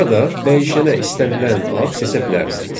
Burada dəyişənə istənilən ad seçə bilərsiniz.